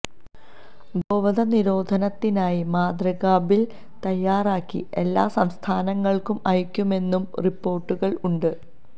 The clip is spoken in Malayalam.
ഗോവധ നിരോധനത്തിനായി മാതൃകാബില് തയ്യാറാക്കി എല്ലാ സംസ്ഥാനങ്ങള്ക്കും അയയ്ക്കുമെന്നും റിപ്പോര്ട്ടുകള് ഉണ്ട്